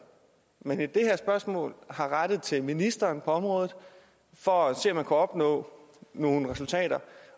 man i det her spørgsmål har rettet til ministeren på området for at se om man kunne opnå nogle resultater